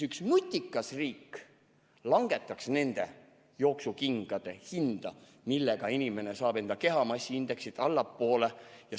Üks nutikas riik langetaks nende jooksukingade hinda, millega inimene saab enda kehamassiindeksit allapoole.